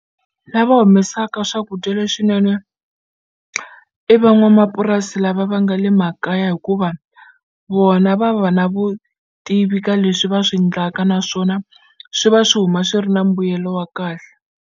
Lava humesaka swakudya leswinene i van'wamapurasi lava va nga le makaya hikuva vona va va na vutivi ka leswi va swi ndlaka naswona swi va swi huma swi ri na mbuyelo wa kahle.